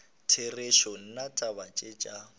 therešo nna taba tše tša